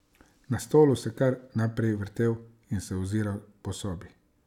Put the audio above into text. Na stolu se je kar naprej vrtel in se oziral po sobi.